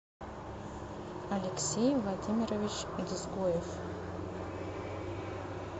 алексей владимирович дзгоев